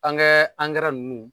An kɛ ankɛrɛ ninnu